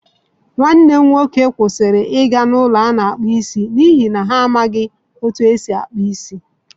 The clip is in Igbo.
Nwanne m nwoke kwụsịrị ịga n’ụlọ a na-akpụ isi n’ihi na ha amaghị otú e si akpụ isi.